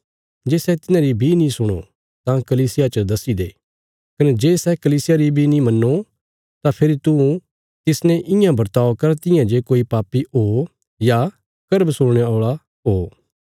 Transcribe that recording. जे सै तिन्हांरी बी नीं सुणो तां कलीसिया च दस्सी दो कने जे सै कलीसिया री बी नीं मन्नो तां फेरी तू तिसने इयां बर्ताव कर तियां जे सै कोई पापी ओ या कर बसूलणे औल़ा ओ